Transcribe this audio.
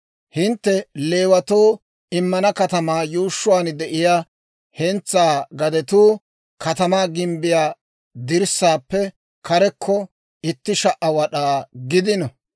Hintte Leewatoo immana katamaa yuushshuwaan de'iyaa hentsaa gadetuu katamaa gimbbiyaa dirssaappe karekko itti sha"a wad'aa gidino.